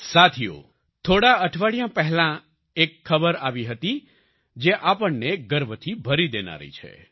સાથીઓ થોડા અઠવાડિયાં પહેલા એક ખબર આવી હતી જે આપણને ગર્વથી ભરી દેનારી છે